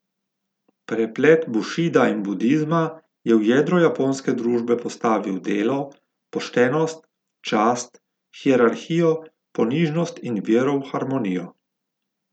Preplet bušida in budizma je v jedro japonske družbe postavil delo, poštenost, čast, hierarhijo, ponižnost in vero v harmonijo.